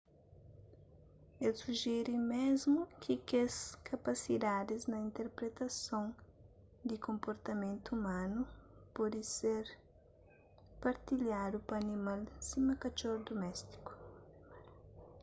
el sujere mésmu ki kes kapasidadis na interpretason di konportamentu umanu pode ser partilhadu pa animal sima katxor duméstiku